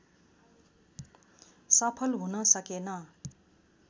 सफल हुन सकेन